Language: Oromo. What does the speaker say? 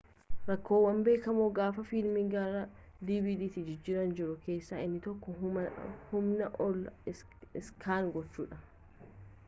rakkoowwan beekamoo gaafa fiilmii gara dvdtti jijjiiran jiru keessaa inni tokko humnaa ol iskaanii gochuudha